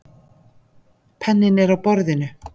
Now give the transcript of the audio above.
Penninn er á borðinu.